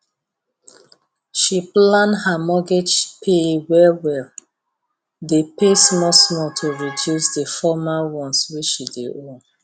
she plan her mortgage pay well well dey pay small small to reduce the former ones wey she dey owe